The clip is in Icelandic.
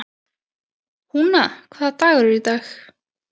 Húna, hvaða dagur er í dag?